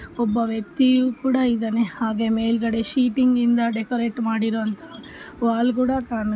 ಈ ಚಿತ್ರ ಅಲ್ಲಿ ಒಂದು ಶಾಲೆಯಲ್ಲಿ ಎಲ್ಲ ವಿದ್ಯಾರ್ಥಿಗಳು ಸೇರಿ ತಮ್ಮ ಕರಕುಶಲ ಪ್ರದರ್ಶನ ಮಾಡುತ್ತಿರುವುದು ಕಾಣ --